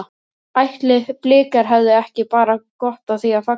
Ætli Blikar hefðu ekki bara gott af því að falla?